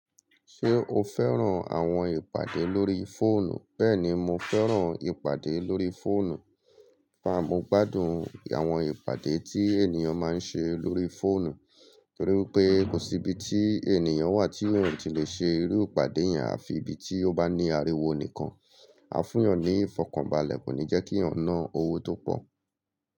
Ṣé o fẹ́ràn àwọn ìpàdé lórí fóònù? Bẹ́ẹ̀ni, mo fẹ́ràn ìpàdé lórí fóònù. Fa, mo gbádùn àwọn ìpàdé tí ènìyàn máa ń ṣe lórí fóònù, nítorí pé kò sí ibi tí ènìyàn wà tí òun ò tí lè ṣe irú ìpàdé yẹn, àfi ibi tí ó bá ní ariwo nìkan. A fún ìyàn ní ìfọkànbalẹ̀, kò ní jẹ́ kí ìyàn ná owó tó pọ̀